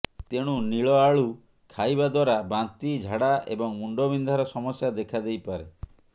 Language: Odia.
ତେଣୁ ନୀଳ ଆଳୁ ଖାଇବା ଦ୍ୱାରା ବାନ୍ତି ଝାଡା ଏବଂ ମୁଣ୍ଡବିନ୍ଧାର ସମସ୍ୟା ଦେଖାଦେଇପାରେ